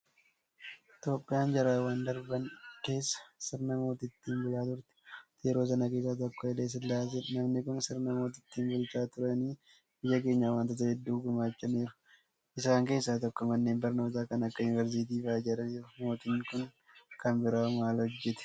Itoophiyaan jaarraawwan darban keessa sirna mootiitiin bulaa turte. Mootii yeroo sanaa keessaa tokko Hayile Sillaaseedha. Namni kun Sirna mootiitiin bulchaa turaniyyuu biyya keenyaaf waantota hedduu gumaachaniiru. Isaan keessaa tokko Manneen barnootaa kan akka Yuunivarsiitii fa'aa ijaaraniiru. Mootiin kun kan biraawoo maal hojjetan?